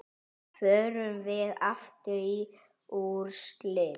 Förum við aftur í úrslit?